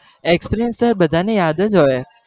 experiance તો હવે બધા ને યાદ જ હોય.